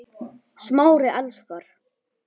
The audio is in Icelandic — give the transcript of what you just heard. Smári elskar